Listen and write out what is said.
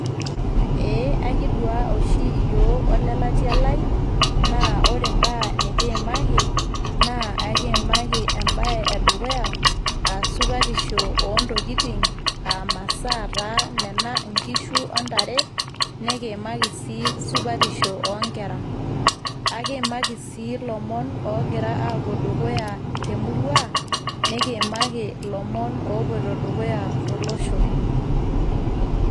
Eee akidua oshi iyiok olelatia lai, naa ore imbaa nikiimaki naa aikiimaki embae e dukuya aa supatisho oo ntokitin aa masaa taa nena nkishu o ntare ,nikiimaki sii supatisho oo nkera. Ekimaaki sii lomon oogira aapuo dukuya te murua nikiimaki sii ilomon oopuoito dukuya to losho.